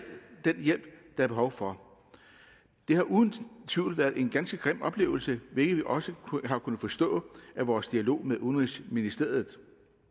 den hjælp der er behov for det har uden tvivl været en ganske grim oplevelse hvilket vi også har kunnet forstå på vores dialog med udenrigsministeriet